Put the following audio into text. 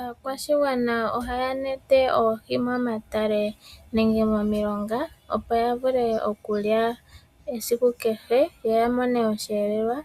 Aakwashigwana ohaa nete oohi momatale nenge momilonga opo ya vule okulya esiku kehe yo ya mone oshiyelelwa